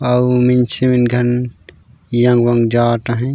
आऊ मन जवत हे।